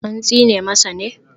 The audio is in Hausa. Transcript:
An tsine masa ne?